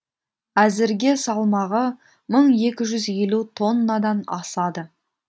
әзірге салмағы мың екі жүз елу тоннадан асады